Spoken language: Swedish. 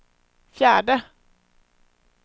fjärde